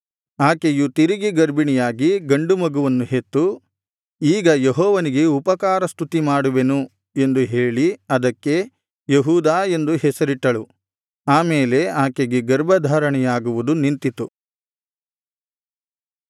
ಆಕೆಯು ತಿರುಗಿ ಗರ್ಭಿಣಿಯಾಗಿ ಗಂಡು ಮಗುವನ್ನು ಹೆತ್ತು ಈಗ ಯೆಹೋವನಿಗೆ ಉಪಕಾರ ಸ್ತುತಿಮಾಡುವೆನು ಎಂದು ಹೇಳಿ ಅದಕ್ಕೆ ಯೆಹೂದಾ ಎಂದು ಹೆಸರಿಟ್ಟಳು ಆ ಮೇಲೆ ಆಕೆಗೆ ಗರ್ಭಧಾರಣೆಯಾಗುವುದು ನಿಂತಿತು